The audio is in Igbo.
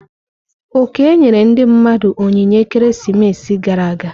Oke nyere ndi mmadu onyinye ekeresimesi gara aga.